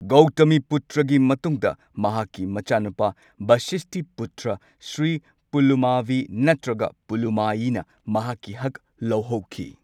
ꯒꯧꯇꯃꯤꯄꯨꯇ꯭ꯔꯒꯤ ꯃꯇꯨꯡꯗ ꯃꯍꯥꯛꯀꯤ ꯃꯆꯥꯅꯨꯄꯥ ꯕꯁꯤꯁꯇꯤꯄꯨꯇ꯭ꯔ ꯁ꯭ꯔꯤ ꯄꯨꯂꯃꯥꯕꯤ ꯅꯠꯇ꯭ꯔꯒ ꯄꯨꯂꯨꯃꯥꯌꯤ ꯅ ꯃꯍꯥꯛꯀꯤ ꯍꯛ ꯂꯧꯍꯧꯈꯤ꯫